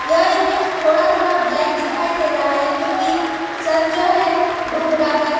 यह इमेज थोड़ा थोड़ा ब्लैक दिखाई दे रहा है क्यों कि सन जो है डूब रहा है।